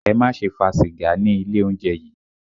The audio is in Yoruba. Ẹ má ṣe fa sìgá ní ilé oúnjẹ yìí!